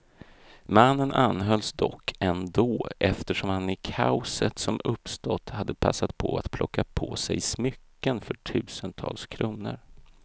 Mannen anhölls dock ändå, eftersom han i kaoset som uppstått hade passat på att plocka på sig smycken för tusentals kronor.